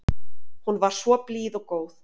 Hún var svo blíð og góð.